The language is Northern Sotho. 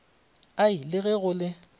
ai le ge go le